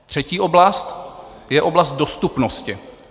Třetí oblast je oblast dostupnosti.